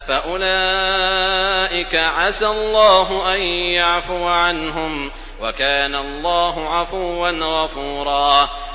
فَأُولَٰئِكَ عَسَى اللَّهُ أَن يَعْفُوَ عَنْهُمْ ۚ وَكَانَ اللَّهُ عَفُوًّا غَفُورًا